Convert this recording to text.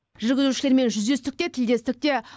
жүргізушілермен жүздестік те тілдестік те